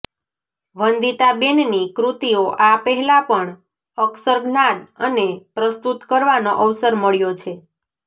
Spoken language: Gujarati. વંદિતાબેનની કૃતિઓ આ પહેલા પણ અક્ષરનાદ પર પ્રસ્તુત કરવાનો અવસર મળ્યો છે